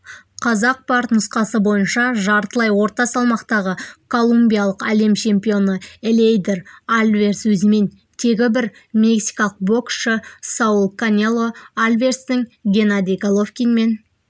қазақпарт нұсқасы бойынша жартылай орта салмақтағы колумбиялық әлем чемпионы элейдер альварес өзімен тегі бір мексикалық боксшы сауль канело альварестің геннадий головкинмен